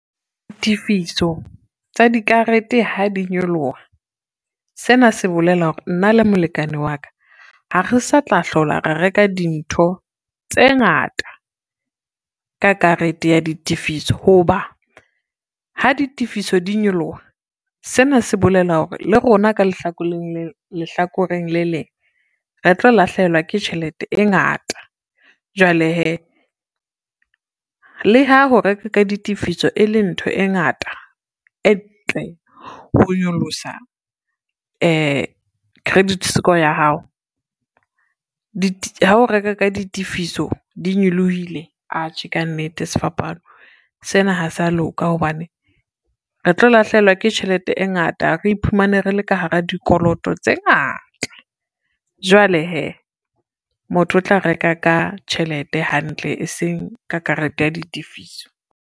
Ditifiso tsa dikarete ha di nyoloha, sena se bolela hore nna le molekane wa ka ha re sa tla hlola ra reka dintho tse ngata ka karete ya ditifiso ho ba, ha ditifiso di nyoloha sena se bolela hore le rona ka lehlakoreng le leng re tlo lahlehelwa ke tjhelete e ngata. Jwale hee, le ha ho reka ka ditifiso e le ntho e ngata, e ntle ho nyolosa credit score ya hao. Hao reka ka ditifiso, di nyolohile atjhe kannete sefapano sena ha se a loka hobane, re tlo lahlehelwa ke tjhelete e ngata, re iphumane re le ka hara dikoloto tse ngata, jwale hee motho o tla reka ka tjhelete hantle, eseng ka karete ya ditifiso.